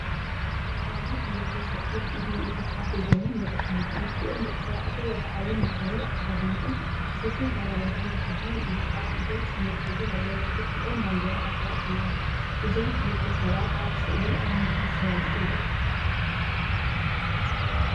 ኣብዚ ክልተ ሰብኡት ኢድ ንኢድ ተተሓሒዞም ይረኣዩ። ክልቲኦም ደቂ ተባዕትዮ ወግዓዊ ንግዳዊ ኣከዳድናኦም፡ ስፉን ክራቫታን ተኸዲኖም እዮም። ኣብ ኢዶም ሰነድ ሒዘም ኣለው። ብድሕሪኦም ባንዴራ ሃገራት ኣለዋ። እዞም ክልተ ሰባት ኣብ ስእሊ ኣብ ምንታይ ይሰማምዑ ኣለው?